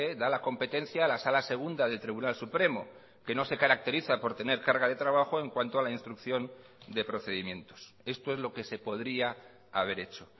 da la competencia a la sala segunda del tribunal supremo que no se caracteriza por tener carga de trabajo en cuanto a la instrucción de procedimientos esto es lo que se podría haber hecho